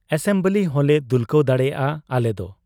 Assembly ᱦᱚᱸᱞᱮ ᱫᱩᱞᱠᱟᱹᱣ ᱫᱟᱲᱮᱭᱟᱜ ᱟ ᱟᱞᱮᱫᱚ ᱾